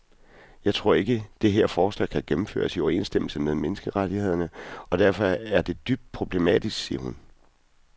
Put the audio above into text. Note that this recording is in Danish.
Jeg tror ikke, det her forslag kan gennemføres i overensstemmelse med menneskerettighederne og derfor er det dybt problematisk, siger hun.